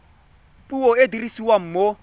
puo e e dirisiwang mo